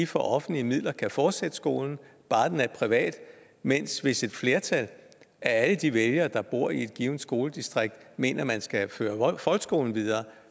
for offentlige midler kan fortsætte skolen bare den er privat men hvis et flertal af alle de vælgere der bor i et givent skoledistrikt mener at man skal føre folkeskolen videre